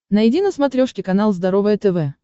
найди на смотрешке канал здоровое тв